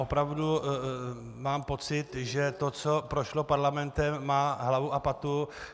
Opravdu mám pocit, že to, co prošlo Parlamentem, má hlavu a patu.